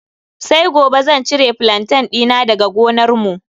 Sai gobe zan cire flantain dina daga gonarmu.